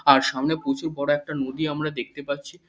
আর সামনে প্রচুর বড় একটা নদী আমরা দেখতে পাচ্ছি।